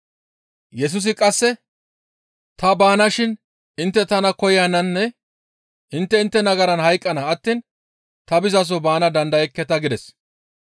Yesusi qasseka, «Ta baanashin intte tana koyananne intte intte nagaran hayqqana attiin ta bizaso baana dandayekketa» gides.